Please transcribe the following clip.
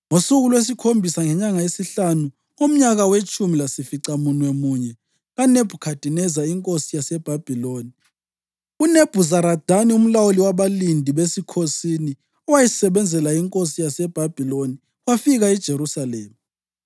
Ngosuku lwesikhombisa ngenyanga yesihlanu, ngomnyaka wetshumi lasificamunwemunye kaNebhukhadineza inkosi yaseBhabhiloni, uNebhuzaradani umlawuli wabalindi besikhosini, owayesebenzela inkosi yaseBhabhiloni, wafika eJerusalema.